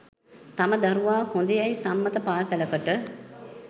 තම දරුවා හොඳයැයි සම්මත පාසලකට